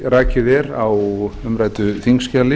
rakið er á umræddu þingskjali